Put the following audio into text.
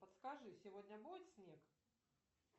подскажи сегодня будет снег